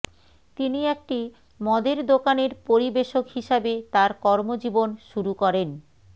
তিনি একটি মদের দোকানের পরিবেষক হিসাবে তার কর্মজীবন শুরু করেন